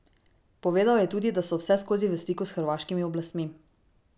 Povedal je tudi, da so vseskozi v stiku s hrvaškimi oblastmi.